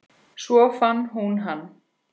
Svo fann hún hann.